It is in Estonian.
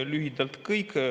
Lühidalt kõik.